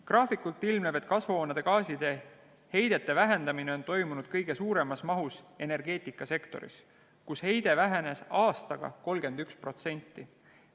Graafikult ilmneb, et kasvuhoonegaaside heidete vähendamine on toimunud kõige suuremas mahus energeetikasektoris, kus heide vähenes aastaga 31%.